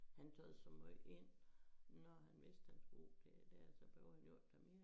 Han taget så måj ind når han vidste han skulle det dér så behøvede han jo ikke tage mere ind